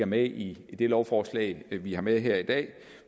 med i det lovforslag vi har med her i dag